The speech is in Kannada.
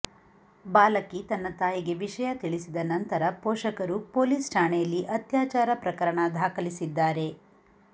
ಬಾಲಕಿ ತನ್ನ ತಾಯಿಗೆ ವಿಷಯ ತಿಳಿಸಿದ ನಂತರ ಪೋಷಕರು ಪೊಲೀಸ್ ಠಾಣೆಯಲ್ಲಿ ಅತ್ಯಾಚಾರ ಪ್ರಕರಣ ದಾಖಲಿಸಿದ್ದಾರೆ